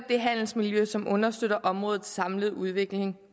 det handelsmiljø som understøtter områdets samlede udvikling